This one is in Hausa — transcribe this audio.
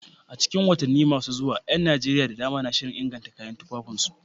A cikin watanni masu zuwa, ƴan Najeriya da dama na shirin inganta kayan tufafinsu.